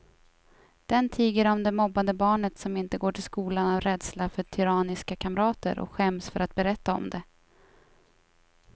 Den tiger om det mobbade barnet som inte går till skolan av rädsla för tyranniska kamrater och skäms för att berätta om det.